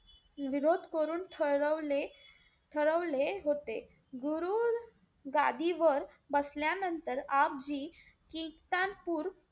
विरोध करून ठरवले ठरवले होते. गुरु गादीवर बसल्यानंतर आपजी कित्तानपूर,